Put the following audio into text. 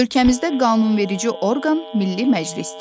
Ölkəmizdə qanunverici orqan Milli Məclisdir.